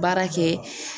Baara kɛ